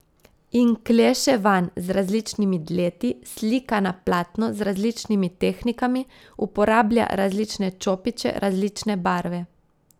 In kleše vanj z različnimi dleti, slika na platno z različnimi tehnikami, uporablja različne čopiče, različne barve.